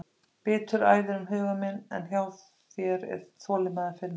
Biturð æðir um huga minn en hjá þér er þolinmæði að finna.